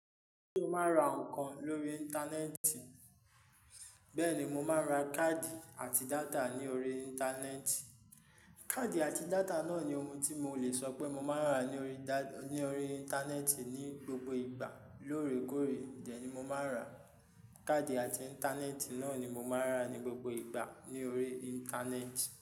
Kí o má ra nǹkan lórí Íńtánẹ́ẹ̀tì, bẹ́ẹ̀ ni mo máa ra káàdì àti data ní orí Íńtánẹ́ẹ̀tì. Káàdì àti data náà ni ohun tí mo lè sọ pé mo máa ń rà ní orí Íńtánẹ́ẹ̀tì ní gbogbo ìgbà lóòrèkóòrè dẹ́ ni mo máa ń rà. Káàdì àti Íńtánẹ́ẹ̀tì náà ni mo máa ń rà ní gbogbo ìgbà ní orí Íńtánẹ́ẹ̀tì.